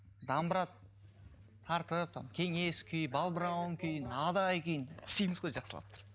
домбра тартып там кеңес күйін балбырауын күйін адай күйін істейміз ғой жақсылап тұрып